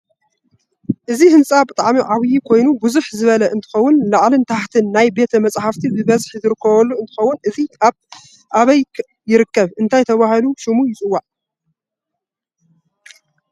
እዚህንፃ ብጠዓሚ ዓብይ ኮይኑ ብዝሕ ዝበለ እንትከውን ላዕልን ታሕትን ናይ ቤት መፃሓፍት ብበዝሕ ዝርከበሉ እንትከውን እዚ ኣብይ ይርከብ እንታይ ተበሂሉ ሽሙ ይፅዋዕ?